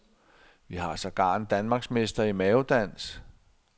Vi har sågar en danmarksmester i mavedans.